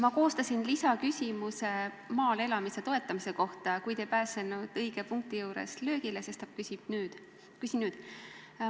Ma koostasin lisaküsimuse maal elamise toetamise kohta, kuid ei pääsenud õige punkti juures löögile, sestap küsin nüüd.